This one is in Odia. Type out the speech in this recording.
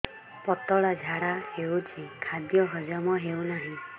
ପତଳା ଝାଡା ହେଉଛି ଖାଦ୍ୟ ହଜମ ହେଉନାହିଁ